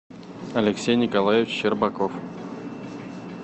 алексей николаевич щербаков